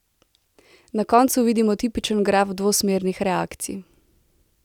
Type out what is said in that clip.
Na koncu vidimo tipičen graf dvosmernih reakcij.